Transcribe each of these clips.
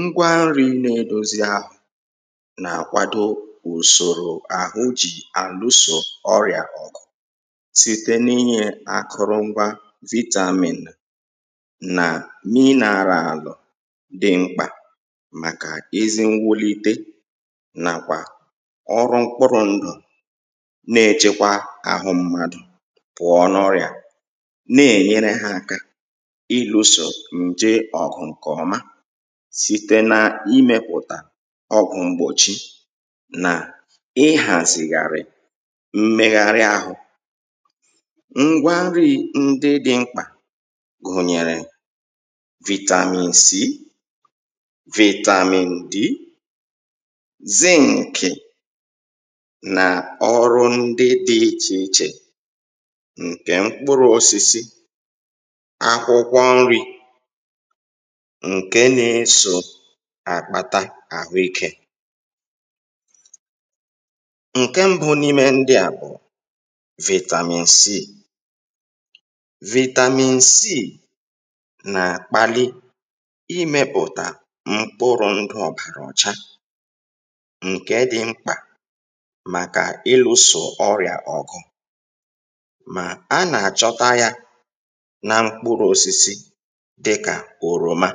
ngwa nri̇ na-edozi ahụ na àkwado ùsòrò àhụ jì àlusò ọrìà ọ̀gụ̀ site n’inyė akụrụ ngwa vitamin nà mineralụ dị mkpà màkà ezi nwulie nà kwà ọrụ mkpụrụ̇ ndụ̀ na-echekwa àhụ mmadụ̀ pụ̀ọ n’ọrìà na-enyere hà aka site na imėpụ̀tà ọgụ̀ mgbòchi nà ihàzìghàrị̀ mmegharị àhụ ngwa nri̇ ndị dị mkpà gùnyèrè vitamin c vitamin d z nkì nà ọrụ ndị dị ichè ichè nkè mkpụrụ̇ osisi akwụkwọ nri ǹke na-esò àkpata àhụikė ǹke mbụ n’ime ndịà bụ̀ vitamin c vitamin c nà-àkpali imėpụ̀tà mkpụrụ̇ ndụ̇ ọ̀bàrà ọcha ǹke dị mkpà màkà ilùsò ọrị̀à ọ̀gụ̀ mà a nà-àchọta yȧ na mkpụrụ osisi dịkà òròma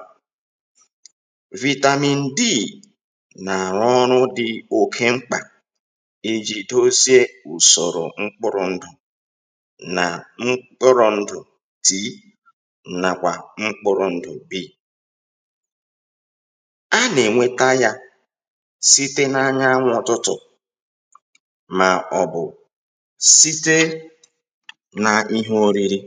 vitamin d nà-àrụ ọrụ̇ dị̇ oke mkpà ijìdosa ùsòrò mkpụrụ̇ ndụ̀ nà mkpụrụ̇ ndụ̀ tìnàà nàkwà mkpụrụ̇ ndụ̀ b a nà-ènweta yȧ site na anyanwụ ọtụtụ̀ màọ̀bụ̀ site na ihe oriri